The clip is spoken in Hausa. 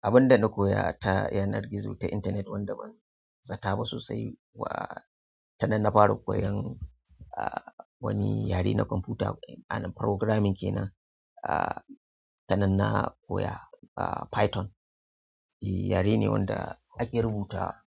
Abin da na koya ta yanar gizo ta internet wanda ban zata ba sosai wa, tanan na fara koyon wani yare na kwamfuta, programming kenan. Tana na koya Python. Yare ne wanda ake rubuta